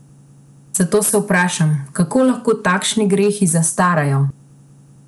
Zato se vprašam, kako lahko takšni grehi zastarajo?